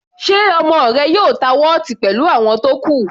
Ṣe ọmọ rẹ yóò ta wọ́ọ̀tì pẹ̀lú àwọn tó kù?